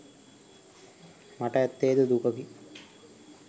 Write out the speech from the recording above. මට ඇත්තේද දුකකි.